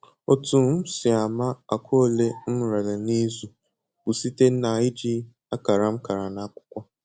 Otu m si ama akwa ole m rere n'izu bụ site na-iji akara m kara n'akwụkwọ